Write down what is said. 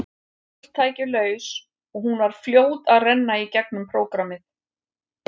Öll tæki laus og hún var fljót að renna í gegnum prógrammið.